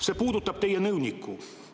See puudutab teie nõunikku.